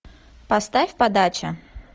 поставь подача